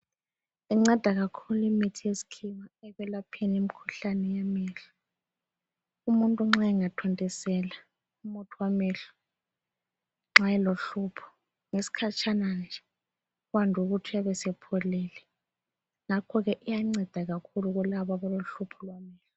Incenda kakhulu imithi yeskhiwa ekwelapheni imikhuhlane yamehlo. Umuntu nxa engathontisela umuthi wamehlo nxa elohlupho ngesikhatshana nje kwande ukuthi uyabe sepholile. Ngakho ke iyanceda kakhulu kulabo abalohlupho lwamehlo.